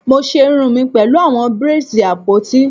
Mo ṣe irun mi pẹlu awọn braids apoti